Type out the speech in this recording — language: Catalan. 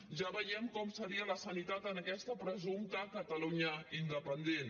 ja veiem com seria la sanitat en aquesta presumpta catalunya independent